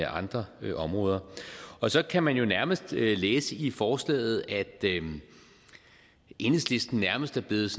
andre områder og så kan man jo nærmest læse i forslaget at enhedslisten nærmest er blevet